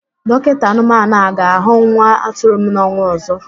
Dọkinta anụmanụ a ga-ahụ nwa atụrụ m n'ọnwa ọzọ?